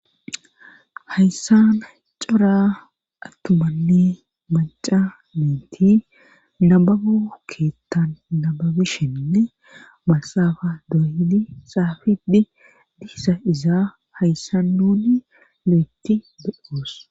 hayssan cora attumanni maca nayiti nababo keettan nababishenne maaxafa dooydi xaafidi dizayisa iza hayssan nuuni lo'etti be'oos